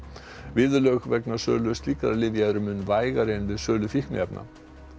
viðurlög vegna sölu slíkra lyfja eru mun vægari en við sölu fíkniefna